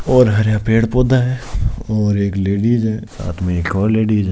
और हरया पेड़ पौधा है और एक लेडीज है साथ मे एक और लेडीज है।